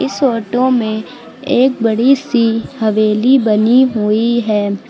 इस फोटो में एक बड़ी सी हवेली बनी हुई है।